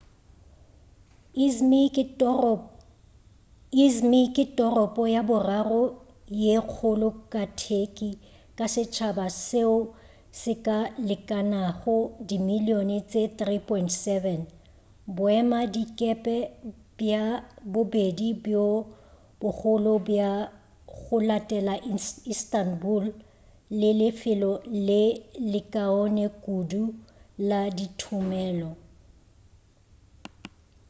i̇zmir ke toropo ya boraro ye kgolo ka turkey ka setšhaba seo se ka lekanago dimilion tše 3.7 boemadikepe bja bobedi bjo bogolo bja go latela instabul le lefelo le lekaone kudu la dithomelo